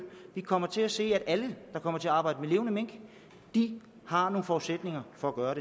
vi kommer til at se at alle der kommer til at arbejde med levende mink har nogle forudsætninger for at gøre